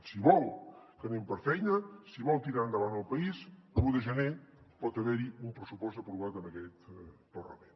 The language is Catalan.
si vol que anem per feina si vol tirar endavant el país l’un de gener pot haver hi un pressupost aprovat en aquest parlament